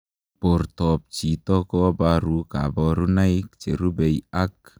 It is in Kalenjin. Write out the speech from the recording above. Portoop chitoo kobaruu kabarunaik cherubei ak